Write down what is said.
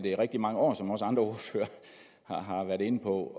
i rigtig mange år som også andre ordførere har været inde på